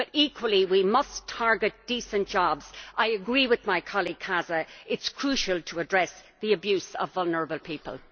But equally, we must target decent jobs. I agree with my colleague Casa it is crucial to address the abuse of vulnerable people.